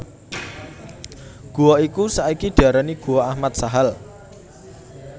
Gua iku saiki diarani Guwa Ahmad Sahal